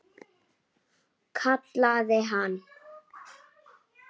Kallaði hann.